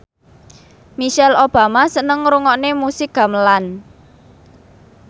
Michelle Obama seneng ngrungokne musik gamelan